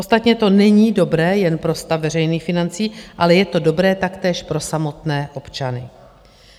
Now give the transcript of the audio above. Ostatně to není dobré jen pro stav veřejných financí, ale je to dobré taktéž pro samotné občany.